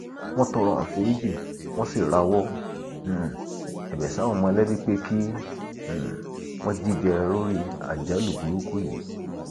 àwọn ọlọpàá ti wọ táǹkà ọhún um àti mardukà lọ sí àgọ um wọn